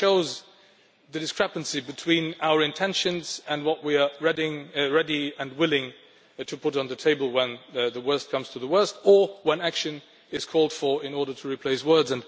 That shows the discrepancy between our intentions and what we are ready and willing to put on the table when the worst comes to the worst, or when action is called for in order to replace words.